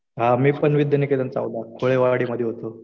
मी पण विद्यानिकेतन चौदाला कोळेवाडीमध्ये होतो.